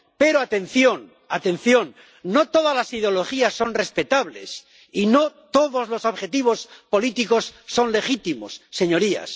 Pero, atención, atención, no todas las ideologías son respetables y no todos los objetivos políticos son legítimos, señorías.